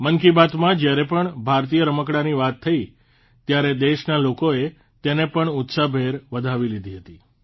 મન કી બાતમાં જયારે પણ ભારતીય રમકડાંની વાત થઇ ત્યારે દેશના લોકોએ તેને પણ ઉત્સાહભેર વધાવી લીધી હતી